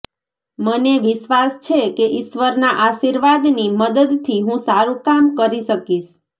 મને વિશ્વાસ છે કે ઈશ્વરના આર્શીવાદની મદદથી હું સારું કામ કરી શકીશ